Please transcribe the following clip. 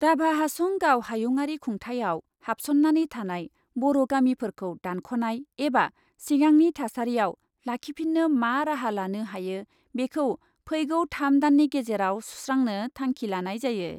राभा हासं गाव हायुङारि खुंथायाव हाबसन्नानै थानाय बर' गामिफोरखौ दानख'नाय एबा सिगांनि थासारियाव लाखिफिन्नो मा राहा लानो हायो बेखौ फैगौ थाम दाननि गेजेराव सुस्रांनो थांखि लानाय जायो।